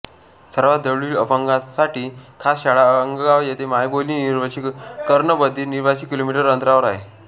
सर्वात जवळील अपंगांसाठी खास शाळा अंगगाव येथे मायबोली निवशी कर्ण बधीर निवाशी किलोमीटर अंतरावर आहे